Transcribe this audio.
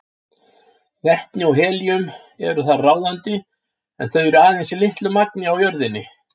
Vetni og helíum eru þar ráðandi en þau eru aðeins í litlu magni á jörðinni.